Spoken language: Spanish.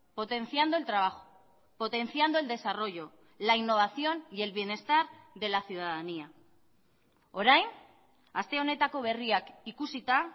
potenciando el trabajo potenciando el desarrollo la innovación y el bienestar de la ciudadanía orain aste honetako berriak ikusita